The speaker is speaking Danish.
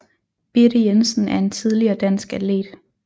Birte Jensen er en tidligere dansk atlet